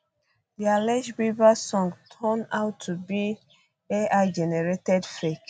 di alleged bieber song turn out to be ai generated fake